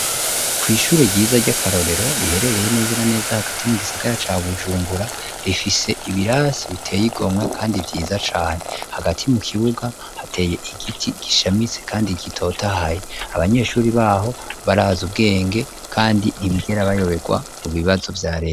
Kw'ishuri ryiza ry'akarorero riherereye neza na neza hagati mu gisagara ca bujumbura rifise ibirasi biteye igomwe, kandi vyiza cane hagati mu kibuga hateye igiti gishamise, kandi gitotahaye abanyeshuri baho baraza ubwenge, kandi ntibigera bayoberwa mu bibazo vya rea.